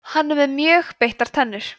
hann er með mjög beittar tennur